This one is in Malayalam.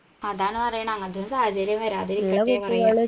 അതാണ് പറയണേ അങ്ങൻതൊന്നും സാഹചര്യം വരാതിരികട്ടെ